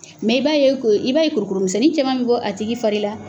Mɛ i b'a ye ko i b'a ye kurukuru misɛnnin cɛman bɛ bɔ a tigi fari la.